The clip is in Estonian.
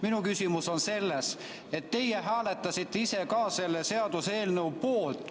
Minu küsimus on selles, et teie hääletasite ise ka selle seaduseelnõu poolt.